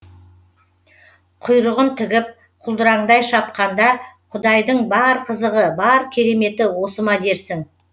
құйрығын тігіп құлдыраңдай шапқанда құдайдың бар қызығы бар кереметі осы ма дерсің